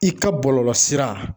I ka bɔlɔlɔsira